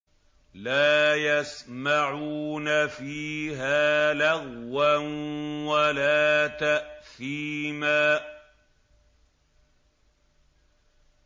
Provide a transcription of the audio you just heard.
لَا يَسْمَعُونَ فِيهَا لَغْوًا وَلَا تَأْثِيمًا